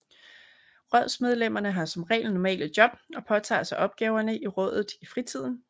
Rådsmedlemmene har som regel normale job og påtager sig opgaverne i rådet i fritiden